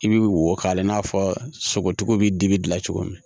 I bi wo k'ala i n'a fɔ sogotigiw bi dibi dilan cogo min